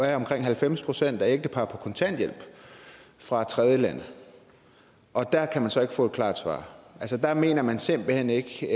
er omkring halvfems procent af ægteparrene på kontanthjælp fra tredjelande og der kan vi så ikke få et klar svar altså der mener man simpelt hen ikke